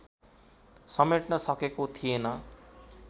समेट्न सकेको थिएन